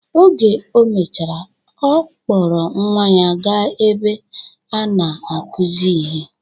Oge o mechara, ọ kpọrọ nwa ya ga-ebe a na-akuzi ihe.